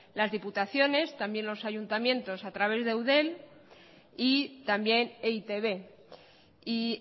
las diputaciones también los ayuntamientos a través de eudel y también e i te be y